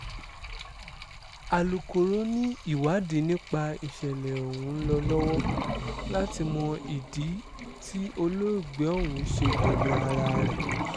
alūkọ̀rọ̀ ni ìwádìí nípa ìṣẹ̀lẹ̀ ọ̀hún ń lọ lọ́wọ́ láti mọ ìdí tí olóògbé ọ̀hún ṣe gbẹ̀mí ara rẹ̀